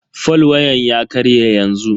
fol wayan ya karye yanzu.